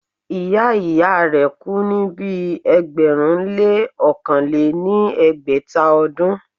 ìyá ìyá rẹ̀ kú ní ibi ẹgbẹ̀rún lé ọ̀kàn lé ní ẹgbẹ́ta ọdún.